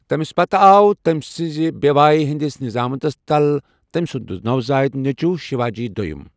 تمِس پتہٕ آو تمہِ سٕنزِ بےوایہ ہندِس نِظامتس تل تٔمہِ سُنٛد نوزائیدٕ نیٚچوٗو شیواجی دۄیم ۔